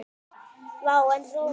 Vá, en rómó.